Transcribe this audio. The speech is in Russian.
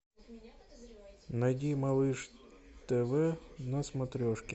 найди малыш тв на смотрешке